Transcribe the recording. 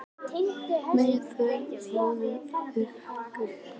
Meðal þeirra voru auk Njarðar þeir Gunnar Örn